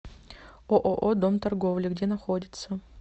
ооо дом торговли где находится